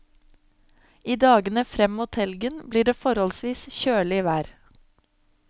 I dagene frem mot helgen blir det forholdsvis kjølig vær.